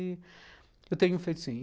Eu tenho feito sim.